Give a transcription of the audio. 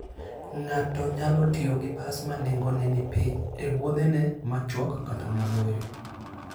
Ng'ato nyalo tiyo gi bas ma nengone ni piny e wuodhene machuok kata maboyo.